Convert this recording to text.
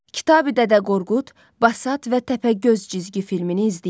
Kitabi Dədə Qorqud, Basat və Təpəgöz cizgi filmini izləyin.